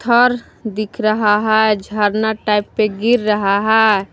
और दिख रहा है झरना टाइप पे गिर रहा है ।